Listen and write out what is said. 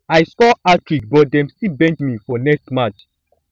i score hattrick but dem still bench me for next match